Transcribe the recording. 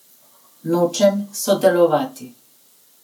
Nočem sodelovati.